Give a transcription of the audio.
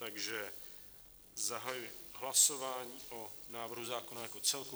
Takže zahajuji hlasování o návrhu zákona jako celku.